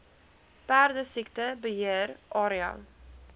perdesiekte beheer area